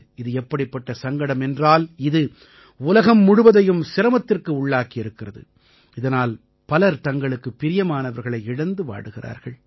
இது எப்படிப்பட்ட சங்கடம் என்றால் இது உலகம் முழுவதையும் சிரமத்திற்கு உள்ளாக்கி இருக்கிறது இதனால் பலர் தங்களுக்குப் பிரியமானவர்களை இழந்து வாடுகிறார்கள்